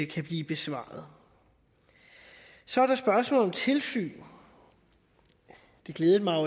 kan blive besvaret så er der spørgsmålet om tilsyn det glæder mig at